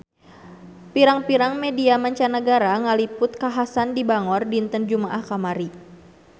Pirang-pirang media mancanagara ngaliput kakhasan di Bangor dinten Jumaah kamari